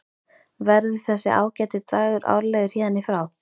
Verður þessi ágæti dagur árlegur héðan í frá?